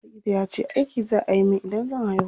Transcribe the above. Likita yace aiki za a yi min idan zan haihu.